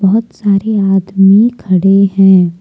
बहुत सारे आदमी खड़े हैं।